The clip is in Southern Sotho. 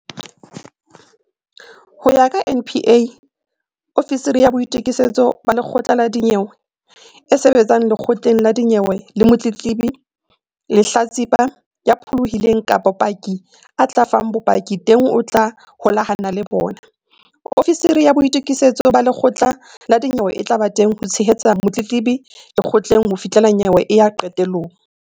Ho ya ka NPA, ofisiri ya boitu-kisetso ba lekgotla la dinyewe e sebetsang lekgotleng la dinyewe le motletlebi, lehlatsipa, ya pholohileng kapa paki a tla fang bopaki teng o tla holahana le bona. Ofisiri ya boitokisetso ba lekgotla la dinyewe e tla ba teng ho tshehetsa motletlebi lekgotleng ho fihla nyewe e ya qetelong.